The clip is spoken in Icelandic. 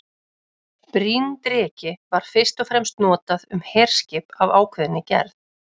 Bryndreki var fyrst og fremst notað um herskip af ákveðinni gerð.